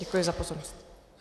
Děkuji za pozornost.